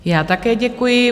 Já také děkuji.